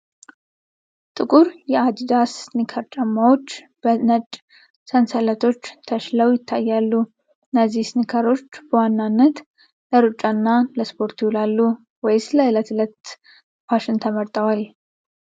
ጥቁር የአዲዳስ ስኒከር ጫማዎች በነጭ ሰንሰለቶች ተሽለው ይታያሉ። እነዚህ ስኒከሮች በዋናነት ለሩጫና ለስፖርት ይውላሉ ወይስ ለዕለት ተዕለት ፋሽን ተመርጠዋል ?